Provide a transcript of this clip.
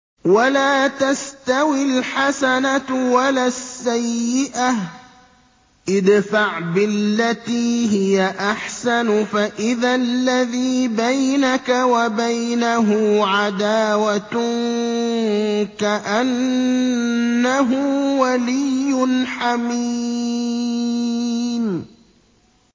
وَلَا تَسْتَوِي الْحَسَنَةُ وَلَا السَّيِّئَةُ ۚ ادْفَعْ بِالَّتِي هِيَ أَحْسَنُ فَإِذَا الَّذِي بَيْنَكَ وَبَيْنَهُ عَدَاوَةٌ كَأَنَّهُ وَلِيٌّ حَمِيمٌ